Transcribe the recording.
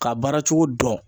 Ka baara cogo dɔn